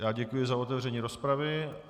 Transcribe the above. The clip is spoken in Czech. Já děkuji za otevření rozpravy.